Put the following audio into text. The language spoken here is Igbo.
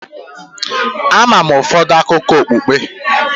Ama m ụfọdụ akụkọ okpukpe.